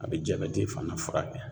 A be jabɛti fana furakɛ.